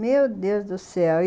Meu Deus do céu!